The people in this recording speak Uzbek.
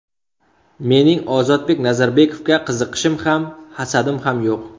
Mening Ozodbek Nazarbekovga qiziqishim ham, hasadim ham yo‘q.